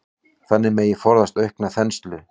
Þannig megi forðast aukna þenslu.